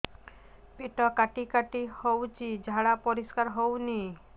ପେଟ କାଟି କାଟି ହଉଚି ଝାଡା ପରିସ୍କାର ହଉନି